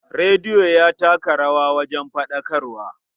Rediyo ya taka rawa wajen faɗakarwa.